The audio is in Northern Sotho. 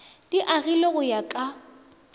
di agilwego go ya ka